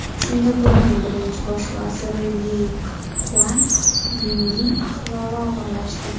Singapurning birinchi bosh vaziri Li Kuan Yuning ahvoli og‘irlashdi.